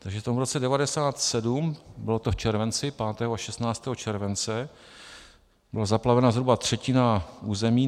Takže v tom roce 1997 - bylo to v červenci, 5. a 16. července, byla zaplavena zhruba třetina území.